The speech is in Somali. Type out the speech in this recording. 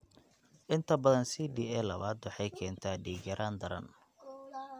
Inta badan CDA labaad waxay keentaa dhiig-yaraan daran.